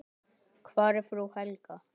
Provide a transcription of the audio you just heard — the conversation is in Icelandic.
Hvar er frú Helga?